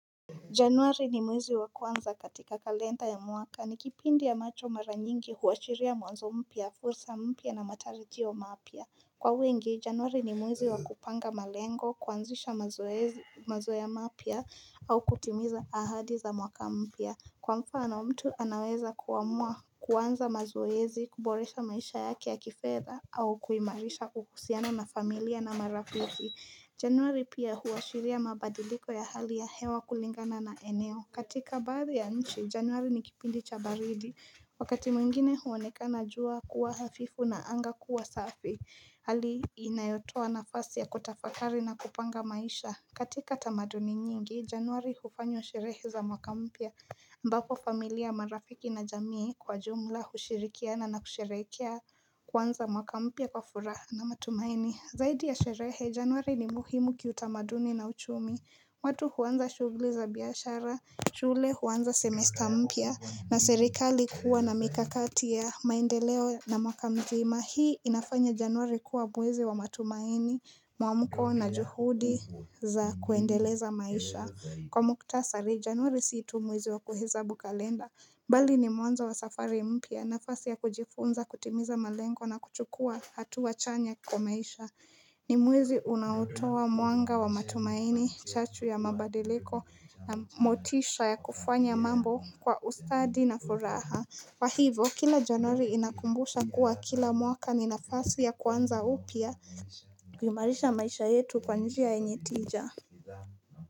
Januari ni mwezi wa kuanza katika kalenda ya mwaka ni kipindi ambacho mara nyingi huashiria mwanzo mpya, fursa mpya na matarijio mapia. Kwa wengi, januari ni mwezi wa kupanga malengo, kuanzisha mazoea mapya au kutimiza ahadi za mwaka mpya. Kwa mfano mtu anaweza kuamua kuanza mazoezi, kuboresha maisha yake ya kifedha au kuimarisha uhusiano na familia na marafi. Januari pia huashiria mabadiliko ya hali ya hewa kulingana na eneo katika badhi ya nchi, januari ni kipindi cha baridi Wakati mwingine huonekana jua kuwa hafifu na anga kuwa safi Hali inayotoa nafasi ya kutafakari na kupanga maisha katika tamaduni nyingi, januari hufanywa sherehe za mwaka mpya ambapo familia marafiki na jamii kwa jumla, hushirikiana na kusherehekea kuanza mwaka mpya kwa furaha na matumaini Zaidi ya sherehe, januari ni muhimu kiutamaduni na uchumi watu huanza shugli za biashara, shule huanza semester mpya na serikali kuwa na mikakati ya maendeleo na mwaka mzima Hii inafanya januari kuwa mwezi wa matumaini, muamuko na juhudi za kuendeleza maisha Kwa muktasari, januari si tu muwezi wa kuhesabu kalenda Bali ni mwanzo wa safari mpya nafasi ya kujifunza, kutimiza malengo na kuchukua hatua chanya kwa maisha ni mwezi unaotoa mwanga wa matumaini chachu ya mabadiliko na motisha ya kufanya mambo kwa ustadi na furaha kwa hivo, kila januari inakumbusha kuwa kila mwaka ni nafasi ya kuanza upya kuimarisha maisha yetu kwa njia yenye tija.